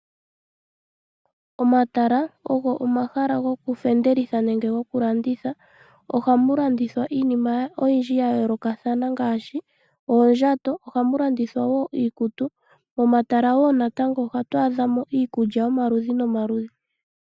Omatala ogo omahala gokufendelitha nenge gokulanditha. Ohamu landithwa iinima oyindji ya yoolokathana ngaashi oondjato, ohamu landithwa wo iikutu. Momatala wo natango ohatu adha mo iikulya yomaludhi nomaludhi.